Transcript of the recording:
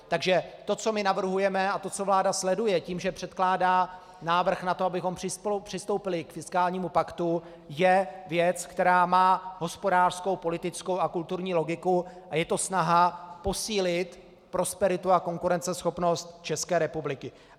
Takže to, co my navrhujeme, a to, co vláda sleduje tím, že předkládá návrh na to, abychom přistoupili k fiskálnímu paktu, je věc, která má hospodářskou, politickou a kulturní logiku a je to snaha posílit prosperitu a konkurenceschopnost České republiky.